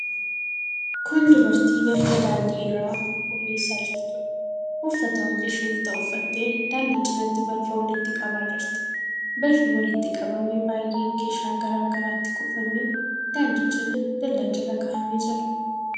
Kun dubartii balfa daandii irraa qulqulleessaa jirtuudha. Uffata hojii isheef ta'u uffattee daandii cinatti balfa walitti qabaa jirti. Balfi walitti qabame baay'een keeshaa garaa garaatti kuufamee daandii cina, dallaa jala kaa'amee jira.